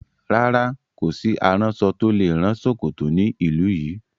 Rárá, kò sí aránṣọ tó lè rán ṣòkòtò ní ìlú yìí.